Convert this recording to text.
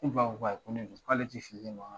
Ne ba ko ko ayi ko ne bi so k'ale ti fili ne ma.